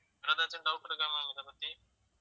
வேற ஏதாச்சும் doubt இருக்கா ma'am இதைப்பத்தி